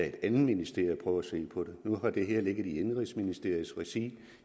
et andet ministerium at se på det nu har det her ligget i indenrigsministeriets regi